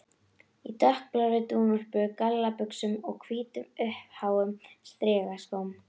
Í dökkblárri dúnúlpu, gallabuxum og hvítum, uppháum strigaskóm.